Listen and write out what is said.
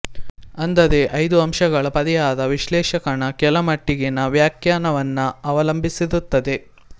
ಅಂದರೆ ಐದು ಅಂಶಗಳ ಪರಿಹಾರ ವಿಶ್ಲೇಷಕನ ಕೆಲ ಮಟ್ಟಿಗಿನ ವ್ಯಾಖ್ಯಾನವನ್ನ ಅವಲಂಬಿಸಿರುತ್ತದೆ